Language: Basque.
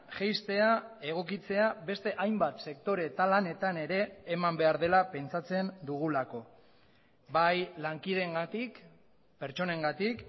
jaistea egokitzea beste hainbat sektore eta lanetan ere eman behar dela pentsatzen dugulako bai lankideengatik pertsonengatik